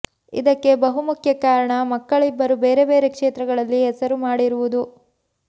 ಇದಕ್ಕೆ ಬಹುಮುಖ್ಯ ಕಾರಣ ಮಕ್ಕಳಿಬ್ಬರು ಬೇರೆ ಬೇರೆ ಕ್ಷೇತ್ರಗಳಲ್ಲಿ ಹೆಸರು ಮಾಡಿರುವುದು